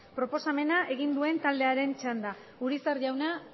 proposamena egin duen taldearen txanda urizar jauna